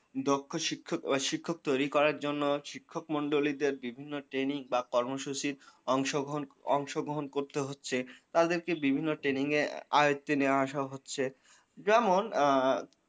দক্ষ শিক্ষক ও শিক্ষক তৈরি করার জন্য শিক্ষক মন্ডলীদের বিভিন্ন training বা কর্মসূচির অংশগ্রহণ অংশগ্রহণ করতে হচ্ছে। তাদেরকে বিভিন্ন training এ আয়ত্তে নিয়ে আসা হচ্ছে। যেমন আ।